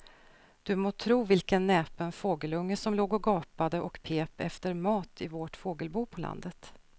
Du må tro vilken näpen fågelunge som låg och gapade och pep efter mat i vårt fågelbo på landet.